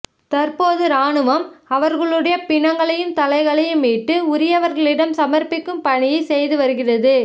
தற்போது ராணுவம் அவர்களுடைய பிணங்களையும் தலைகளையும் மீட்டு உரியவர்களிடம் சமர்ப்பிக்கும் பணியை செய்து வருகிறது